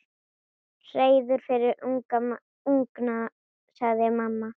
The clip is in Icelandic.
Hreiður fyrir ungana, segir mamma.